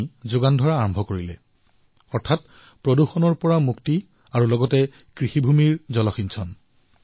অৰ্থাৎ পানী প্ৰদুষণ লেতেৰা আৰু বেমাৰৰ পৰা মুক্তিও লাভ কৰিলে আৰু খেতিৰ বাবে পানীৰো যোগাৰ হল